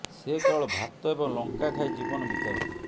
ସେ କେବଳ ଭାତ ଏବଂ ଲଙ୍କା ଖାଇ ଜୀବନ ବିତାଉଥିଲେ